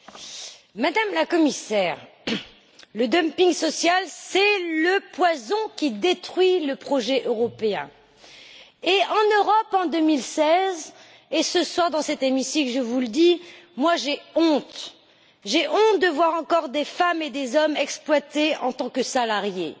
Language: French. Madame la Présidente, Madame la Commissaire, le dumping social, c'est le poison qui détruit le projet européen. En Europe en 2016 et ce soir, dans cet hémicycle, je vous le dis, j'ai honte de voir encore des femmes et des hommes exploités en tant que salariés,